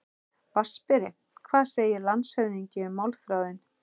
VATNSBERI: Hvað segir landshöfðingi um málþráðinn?